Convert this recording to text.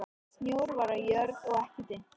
Snjór var á jörð og ekki dimmt.